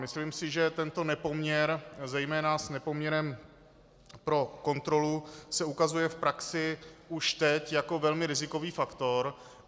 Myslím si, že tento nepoměr zejména s nepoměrem pro kontrolu se ukazuje v praxi už teď jako velmi rizikový faktor.